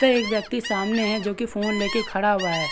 तथा एक व्यक्ति सामने है जो की फ़ोन लेके खड़ा हुआ है।